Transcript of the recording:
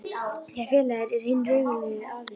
því að félagið er hinn raunverulegi aðili.